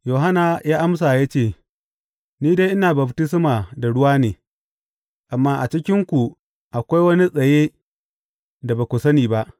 Yohanna ya amsa ya ce, Ni dai ina baftisma da ruwa ne, amma a cikinku akwai wani tsaye da ba ku sani ba.